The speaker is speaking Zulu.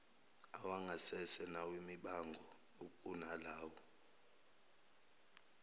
awangasese nawemibango ukunalawo